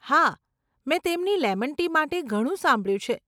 હા, મેં તેમની લેમન ટી માટે ઘણું સાંભળ્યું છે.